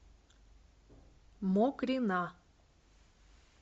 мокрина